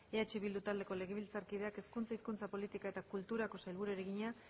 eh bildu taldeko legebiltzarkideak hezkuntza hizkuntza politika eta kulturako sailburuari egina